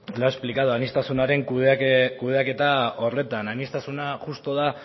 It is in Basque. lo ha explicado aniztasunaren kudeaketa horretan aniztasuna justu da